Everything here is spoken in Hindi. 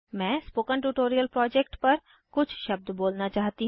मैं स्पोकन ट्यूटोरियल प्रोजेक्ट पर कुछ शब्द बोलना चाहती हूँ